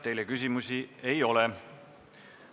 Teile küsimusi ei ole.